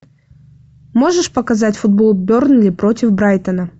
можешь показать футбол бернли против брайтона